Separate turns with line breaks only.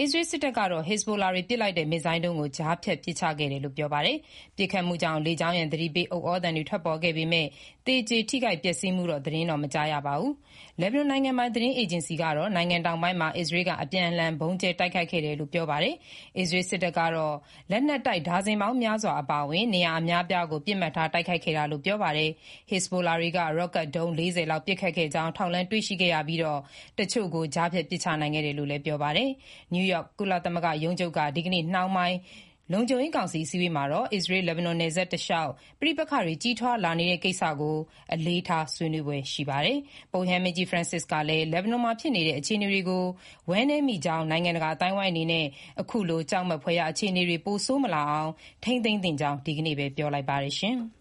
အစ္စရေးစစ်တပ်ကတော့ ဟစ်ဇ်ဘိုလာတွေ ပစ်လိုက်တဲ့ မစ်ဇိုင်းဒုံးကို ကြားဖြတ်ပစ်ချခဲ့တယ်လို့ ပြောပါတယ်။ ပစ်ခတ်မှုကြောင့် လေကြောင်းရန် သတိပေးဥသြသံတွေ ထွက်ပေါ်ခဲ့ပေမဲ့ သေကျေထိခိုက်ပျက်စီးမှု သတင်းတော့ မကြားရပါဘူး။ လက်ဘနွန်နိုင်ငံပိုင် သတင်းအေဂျင်စီကတော့ လက်ဘနွန်နိုင်ငံ တောင်ပိုင်းမှာ အစ္စရေးက အပြင်းအထန် ဗုံးကြဲတိုက်ခိုက်ခဲ့တယ်လို့ပြောပါတယ်။ အစ္စရေးစစ်တပ်ကတော့ လက်နက်တိုက် ဒါဇင်ပေါင်းများစွာ အပါအဝင် နေရာအများအပြားကို ပစ်မှတ်ထား တိုက်ခိုက်ခဲ့တာလို့ ပြောပါတယ်။ ဟစ်ဇ်ဘိုလာတွေက ရော့ကတ်ဒုံး ၄၀ လောက် ပစ်ခတ်ခဲ့ကြောင်း ထောက်လှမ်းတွေ့ရှိခဲ့ရပြီး တချို့ကိုကြားဖြတ်ပစ်ချနိုင်ခဲ့တယ်လို့လည်း ပြောပါတယ်။ နယူးယောက် ကုလသမဂ္ဂ ရုံးချုပ်က ဒီကနေ့နှောင်းပိုင်း လုံခြုံရေးကောင်စီ အစည်းအဝေးမှာတော့ အစ္စရေး-လက်ဘနွန်နယ်စပ်တလျှောက် ပဋိပက္ခတွေ ကြီးထွားလာနေတဲ့ ကိစ္စကို အလေးထားဆွေးနွေးဖွယ်ရှိပါတယ်။ ပုပ်ရဟန်းမင်းကြီး ဖရန်စစ်ကလည်း လက်ဘနွန်မှာဖြစ်နေတဲ့ အခြေအနေတွေကို ဝမ်းနည်မိကြောင်း နိုင်ငံတကာအသိုင်းအဝိုင်းအနေနဲ့ အခုလို ကြောက်မက်ဖွယ်ရာ အခြေအနေတွေ ပိုဆိုးမလာအောင် ထိန်းသိမ်းသင့်ကြောင်း ဒီနေ့ပဲ ပြောလိုက်ပ
ါတယ်။